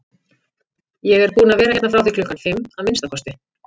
Ég er búinn að vera hérna frá því klukkan fimm, að minnsta kosti